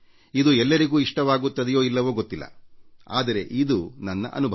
ಇದು ಎಲ್ಲರಿಗೂ ಇಷ್ಟವಾಗುತ್ತದೆಯೋ ಇಲ್ಲವೋ ಗೊತ್ತಿಲ್ಲ ಆದರೆ ಇದು ನನ್ನ ಅನುಭವ